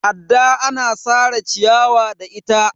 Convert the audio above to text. adda ana Sara ciyawa da ita